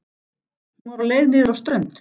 Hún var á leið niður á strönd.